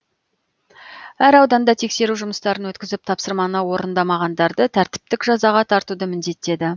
әр ауданда тексеру жұмыстарын өткізіп тапсырманы орындамағандарды тәртіптік жазаға тартуды міндеттеді